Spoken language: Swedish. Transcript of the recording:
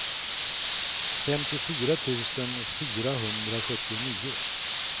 femtiofyra tusen fyrahundrasjuttionio